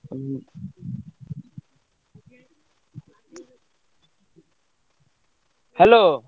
ଉଁ ହୁଁ hello ।